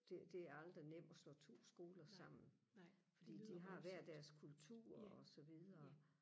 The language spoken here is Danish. det det er aldrig nemt og slå to skoler sammen fordi de har hver deres kultur og så videre